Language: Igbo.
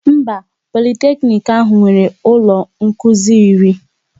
Mba, Politeknic ahụ nwere ụlọ nkụzi iri